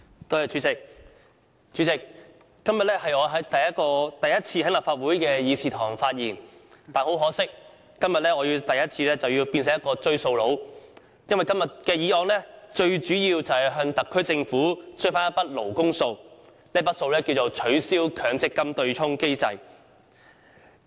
代理主席，今天我首次在立法會議事堂發言，可惜卻要化身為"追數佬"，就本議案向特區政府追討一筆"勞工數"，務求令政府落實取消強制性公積金對沖機制。